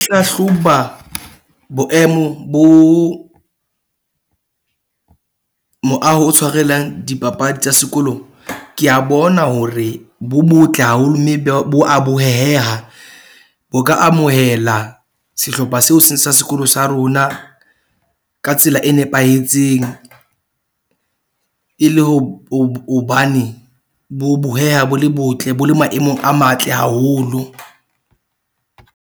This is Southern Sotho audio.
Hlahloba boemo bo moaho o tshwarelang dipapadi tsa sekolong. Ke a bona hore bo botle haholo mme bo a boheheha. Ho ka amohela sehlopha seo se sa sekolo sa rona ka tsela e nepahetseng e le ho hobane bo boheha bo le botle, bo le maemong a matle haholo.